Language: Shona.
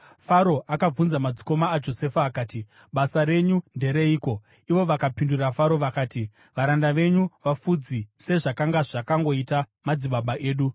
Faro akabvunza madzikoma aJosefa akati, “Basa renyu ndereiko?” Ivo vakapindura Faro vakati, “Varanda venyu vafudzi, sezvakanga zvakangoita madzibaba edu.”